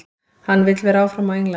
Hann vill vera áfram á Englandi.